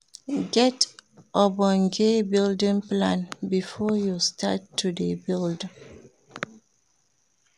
Get ogbonge building plan before you start to de build